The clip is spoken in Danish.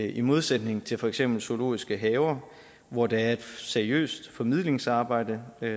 i modsætning til for eksempel zoologiske haver hvor der er et seriøst formidlingsarbejde